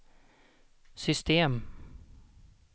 system